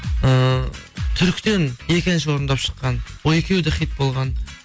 ыыы түріктен екі әнші орындап шыққан ол екеуі де хит болған